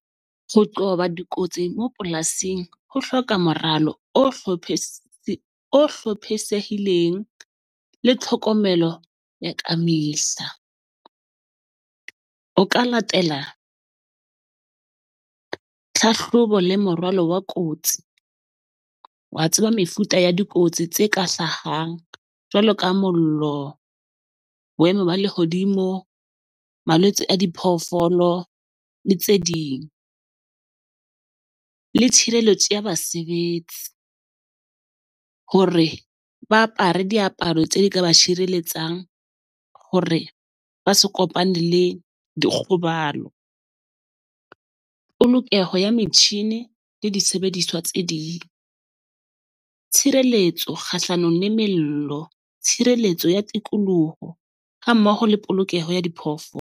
Ho qoba dikotsi mo polasing ho hloka moralo o o hlophisehileng le tlhokomelo ya ka . O ka latela tlhahlobo le moralo wa kotsi. Wa tseba mefuta ya dikotsi tse ka hlahang jwalo ka mollo, boemo ba lehodimo, malwetse a diphoofolo le tse ding. Le tshireletso ya basebetsi hore ba apare diaparo tseo di ka ba tshireletsang hore ba se kopane le dikgobalo. Polokeho ya metjhini le disebediswa tse ding, tshireletso kgahlano le mello, tshireletso ya tikoloho ha mmoho le polokeho ya .